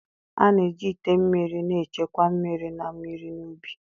A na-eji ite mmiri na-echekwa mmiri na mmiri n'ubi.